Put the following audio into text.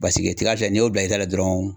Baseke tiga filɛ n'i y'o bila i da la dɔrɔn